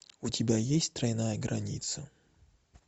у тебя есть тройная граница